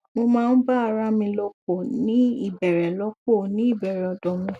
mo ma n ba arami lopo ni ibere lopo ni ibere odo mi